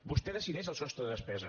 vostè decideix el sostre de despesa